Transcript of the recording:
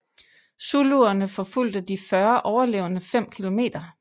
Zuluerne forfulgte de 40 overlevende fem kilometer